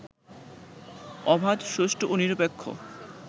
অবাধ, সুষ্ঠু ও নিরপেক্ষ